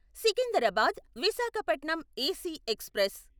Secunderabad Visakhapatnam AC express